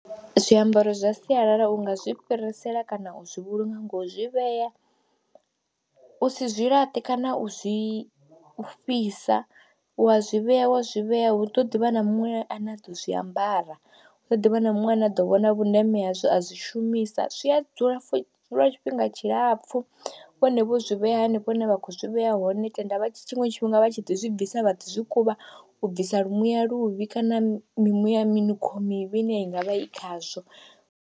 Zwiambaro zwa sialala u nga zwi fhirisela kana u zwi vhulunga ngo zwi vhea u si zwi laṱe kana u zwi fhisa, u wa zwi vhea wa zwi vhea hu ḓo ḓi vha na muṅwe ane a ḓo zwi ambara, hu ḓo ḓi vha na muṅwe ane a ḓo vhona vhundeme hazwo a zwi shumisa, zwi a dzula lwa tshifhinga tshilapfhu vhone vho zwi vhea hanefho hune vha khou zwi vhea hone, tenda tshiṅwe tshifhinga vha tshi ḓi zwi bvisa vhathu zwi kuvha u bvisa lu muya luvhi kana mimuya minukho mimuvi ine i nga vha i khazwo.